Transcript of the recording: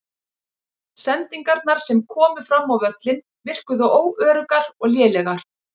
Sendingarnar sem komu fram á völlinn virkuðu óöruggar og lélegar.